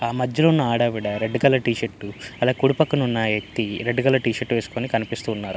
ఆ మధ్యలో ఉన్నఆడావిడా రెడ్ కలర్ టీ షర్టు అదే కుడి పక్కన ఉన్న వ్యక్తి రెడ్ కలర్ టీ షర్టు వేసుకొని కనిపిస్తున్నాడు.